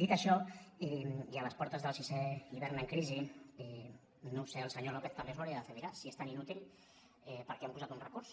dit això i a les portes del sisè hivern en crisi no ho sé el senyor lópez també s’ho hauria de fer mirar si és tan inútil per què han posat un recurs